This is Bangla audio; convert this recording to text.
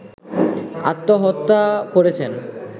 আত্মহত্যা করেছেন